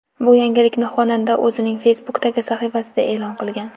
Bu yangilikni xonanda o‘zining Facebook’dagi sahifasida e’lon qilgan .